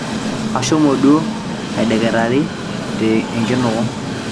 ashomo duo aideketari te enkinuku